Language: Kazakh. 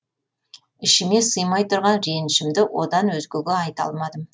ішіме сыймай тұрған ренішімді одан өзгеге айта алмадым